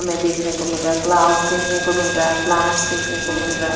हमें देखने को मिल रहा है क्लाउड्स देखने को मिल रहा है प्लांट्स देखने को मिल रहा है।